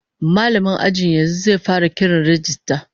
Mallamin ajin yanzu zai fara kiran rajista